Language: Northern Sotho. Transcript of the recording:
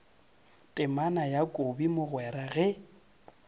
temana ya kobi mogwera ge